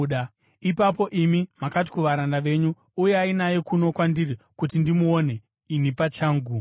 “Ipapo imi makati kuvaranda venyu, ‘Uyai naye kuno kwandiri kuti ndimuone, ini pachangu.’